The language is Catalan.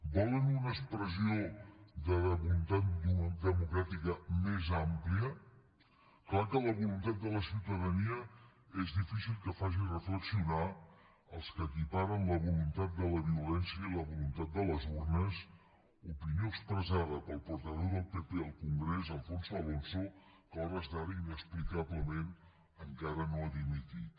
volen una expressió de voluntat democràtica més àmplia és clar que la voluntat de la ciutadania és difícil que faci reflexionar els que equiparen la voluntat de la violència i la voluntat de les urnes opinió expressada pel portaveu del pp al congrés alfonso alonso que a hores d’ara inexplicablement encara no ha dimitit